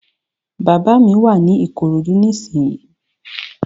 Bàbá mi wà ní Ìkòròdú ní ìsínyi